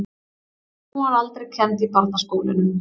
Hún var aldrei kennd í barnaskólunum.